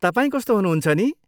तपाईँ कस्तो हुनुहुन्छ नि?